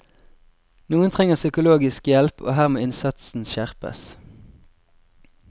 Noen trenger psykologisk hjelp, og her må innsatsen skjerpes.